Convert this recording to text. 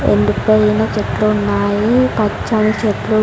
ఎండిపోయిన చెట్లు ఉన్నాయి పచ్చని చెట్లు.